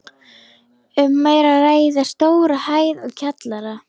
Um er að ræða stóra hæð og kjallara.